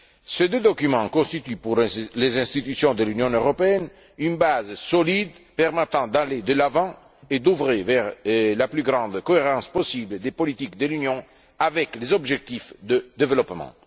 Ces deux documents constituent pour les institutions de l'Union européenne une base solide pour aller de l'avant et œuvrer à la plus grande cohérence possible des politiques de l'Union avec les objectifs de développement.